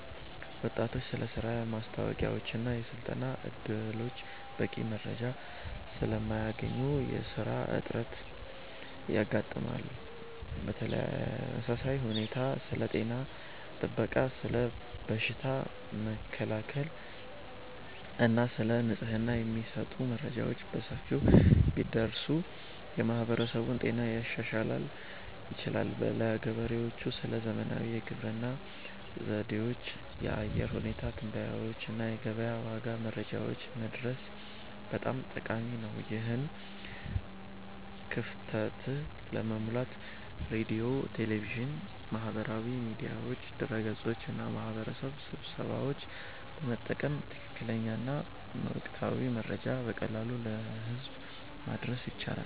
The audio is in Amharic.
ወጣቶች ስለ ሥራ ማስታወቂያዎችና የሥልጠና ዕድሎች በቂ መረጃ ስለማያገኙ ለሥራ አጥነት ይጋለጣሉ። በተመሳሳይ ሁኔታ ስለ ጤና ጥበቃ፣ ስለ በሽታ መከላከል እና ስለ ንጽህና የሚሰጡ መረጃዎች በሰፊው ቢደርሱ የማህበረሰቡን ጤና ማሻሻል ይቻላል። ለገበሬዎችም ስለ ዘመናዊ የግብርና ዘዴዎች፣ የአየር ሁኔታ ትንበያዎች እና የገበያ ዋጋ መረጃዎች መድረስ በጣም ጠቃሚ ነው። ይህን ክፍተት ለመሙላት ሬዲዮ፣ ቴሌቪዥን፣ ማህበራዊ ሚዲያዎች፣ ድረ-ገጾች እና የማህበረሰብ ስብሰባዎችን በመጠቀም ትክክለኛና ወቅታዊ መረጃ በቀላሉ ለህዝብ ማድረስ ይቻላል